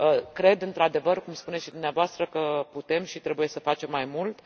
Cred, într adevăr, cum spuneți și dumneavoastră, că putem și trebuie să facem mai mult.